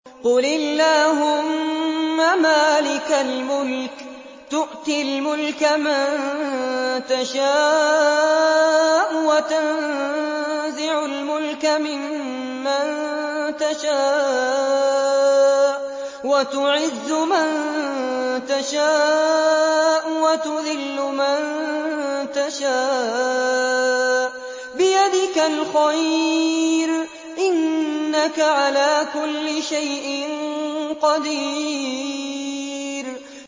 قُلِ اللَّهُمَّ مَالِكَ الْمُلْكِ تُؤْتِي الْمُلْكَ مَن تَشَاءُ وَتَنزِعُ الْمُلْكَ مِمَّن تَشَاءُ وَتُعِزُّ مَن تَشَاءُ وَتُذِلُّ مَن تَشَاءُ ۖ بِيَدِكَ الْخَيْرُ ۖ إِنَّكَ عَلَىٰ كُلِّ شَيْءٍ قَدِيرٌ